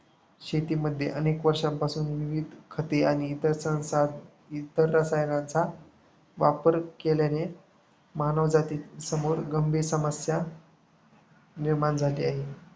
शेतीमध्ये अनेक वर्षांपासून विविध खते आणि इतर रसायनांचा वापर केल्याने मानवजातीसमोर गंभीर समस्या निर्माण झाली आहे.